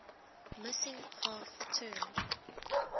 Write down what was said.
missing half turned